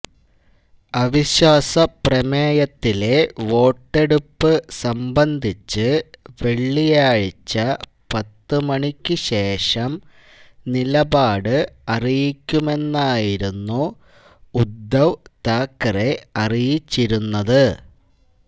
അവിശ്വാസ പ്രമേയത്തിലെ വോട്ടെടുപ്പ് സംബന്ധിച്ച് വെള്ളിയാഴ്ച പത്തു മണിക്കു ശേഷം നിലപാട് അറിയിക്കുമെന്നായിരുന്നു ഉദ്ധവ് താക്കറെ അറിയിച്ചിരുന്നത്